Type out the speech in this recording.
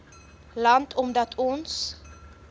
land omdat ons